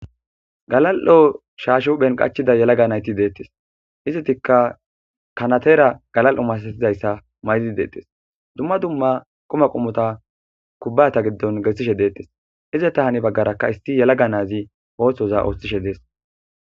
Galal7o shaashu phen qachida yalaga nayti deettes izitikka kanatera galal7o masasizayssa maydi deettes dumma dumma quma qumota kubbata giddon gessishe deettes ize ta hari baggarakka isti yalaga naazi oohthoza ooththishe dees.